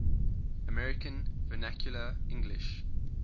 american vernacular english